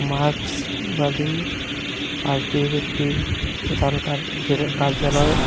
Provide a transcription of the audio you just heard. মার্কসবাদী পার্টির একটি প্রধানকার যে কার্যালয়।